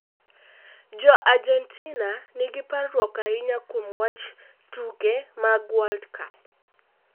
Jo-Argentina nigi parruok ahinya kuom wach tuke mag World Cup